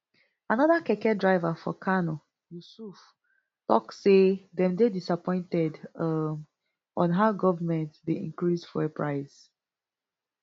anoda keke driver for kano yusuf tok say dem dey disappointed um on how goment dey increase fuel price